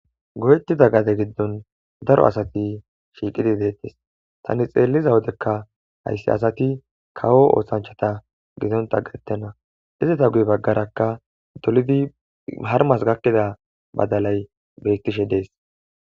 Go'ettida gade giddon daro asati shiiqidi deettes tani xeelliza wodekka hayssi asati kawo oohshanchata gidonta gattenna izata guy baggarakka dolidi harmas gakkida badalay beyttishe dees